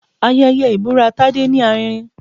Ayẹyẹ ibura Tádé ní arinrin